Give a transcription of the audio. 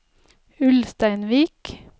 Ulsteinvik